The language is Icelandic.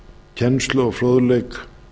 kennslu og fróðleik